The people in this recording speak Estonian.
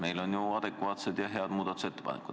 Meil on ju adekvaatsed ja head muudatusettepanekud.